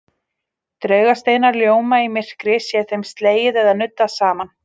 Draugasteinar ljóma í myrkri sé þeim slegið eða nuddað saman.